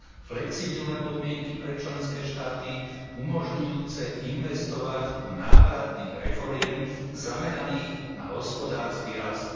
Flexibilné podmienky pre členské štáty umožňujúce investovať do návratných reforiem zameraných na hospodársky rast.